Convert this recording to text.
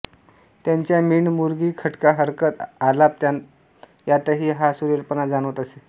त्यांच्या मींड मुरकी खटका हरकत आलाप तान यांतही हा सुरेलपणा जाणवत असे